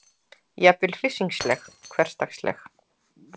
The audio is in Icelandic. Jafnvel hryssingsleg, hversdagsleg.